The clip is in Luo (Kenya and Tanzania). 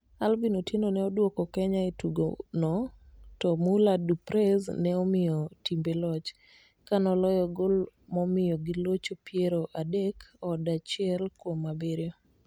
Alvin Otieno ne odwoko Kenya e tugo no to Muller du Preez ne omiyo timbe loch kanoloyo gol momiyo gilocho piero adek od achiel kuom abiriyo.